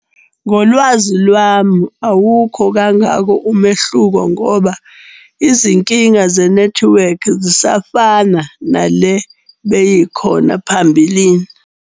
Ngolwazi lwami awukho kangako umehluko ngoba izinkinga zenethiwekhi zisafanana nale beyikhona phambilini.